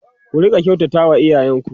ku Rika kyautata wa iyayen ku